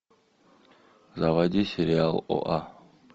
заводи сериал оа